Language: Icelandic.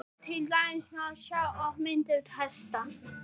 til dæmis má sjá á myndunum hesta